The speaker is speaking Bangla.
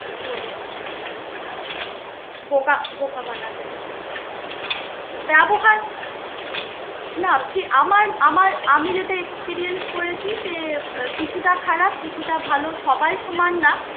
তো বোকা বোকা বানাতে চায়. ব্যবহার না ঠি~ আমার আমার আমি যেটা experience করেছি যে কিছুটা খারাপ কিছুটা ভাল, সবাই সমান না.